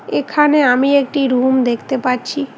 এখানে আমি একটি রুম দেখতে পাচ্ছি।